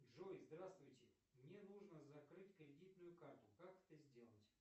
джой здравствуйте мне нужно закрыть кредитную карту как это сделать